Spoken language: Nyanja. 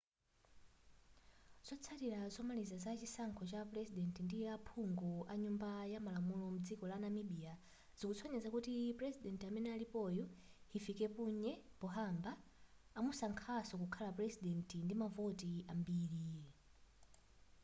zotsatira zomaliza za chisankho cha purezidenti ndi aphungu anyumba yamalamulo mdziko la namibia zikusonyeza kuti purezidenti amene alipoyo hifikepunye pohamba amusankhanso kukhala purezidenti ndi mavoti ambiri